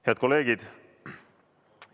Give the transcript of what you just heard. Head kolleegid!